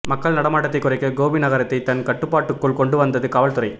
மக்கள் நடமாட்டத்தை குறைக்க கோபி நகரத்தை தன் கட்டுப்பாட்டுக்குள் கொண்டு வந்தது காவல்துறை